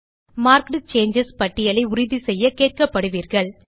marked changes பட்டியலை உறுதிசெய்ய கேட்கப்படுவீர்கள்